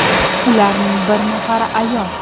Ularning bir nafari ayol.